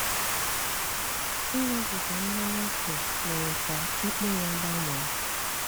Ị́ṅúbígá mmányá ókè mére ká ikpe yá gbánwé.